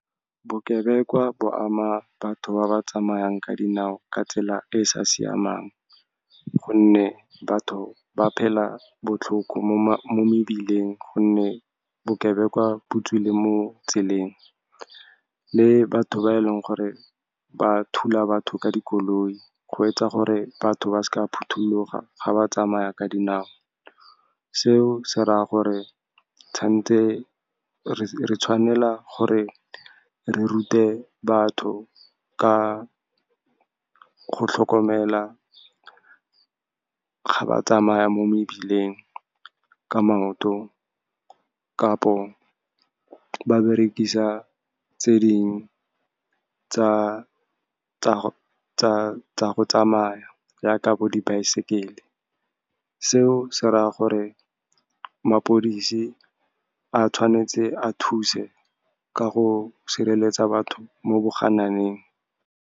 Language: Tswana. Bokebekwa bo ama batho ba ba tsamayang ka dinao ka tsela e e sa siamang, gonne batho ba phela botlhoko mo mebileng, gonne bokebekwa bo tswile mo tseleng, le batho ba e leng gore ba thula batho ka dikoloi, go etsa gore batho ba sa phuthuloga ga ba tsamaya ka dinao. Seo se raya gore re tshwanela gore re rute batho ka go tlhokomela ga ba tsamaya mo mebileng ka maoto, kapo ba berekisa tse dingwe tsa go tsamaya, yaka bo dibaesekele. Seo se raya gore maphodisi a tshwanetse a thuse ka go sireletsa batho mo bogananeng.